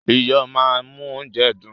Iyo máa ń mú óúnjẹ dùn.